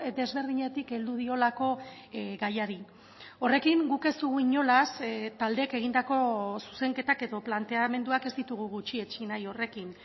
desberdinetik heldu diolako gaiari horrekin guk ez dugu inolaz taldeek egindako zuzenketak edo planteamenduak ez ditugu gutxietsi nahi horrekin